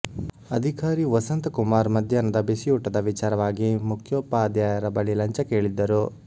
ಅಧಿಕಾರಿ ವಸಂತ ಕುಮಾರ್ ಮಧ್ಯಾಹ್ನದ ಬಿಸಿಯೂಟದ ವಿಚಾರವಾಗಿ ಮುಖ್ಯೋಪಾಧ್ಯಾಯರ ಬಳಿ ಲಂಚ ಕೇಳಿದ್ದರು